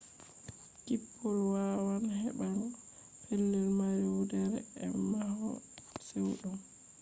kippol yawan heɓaago pelel mari wurdere e mahol chewɗum